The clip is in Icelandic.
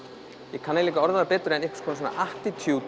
ég kann ekki að orða það betur einhvers konar